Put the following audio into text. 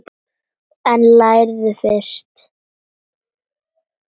En lærðu fyrst.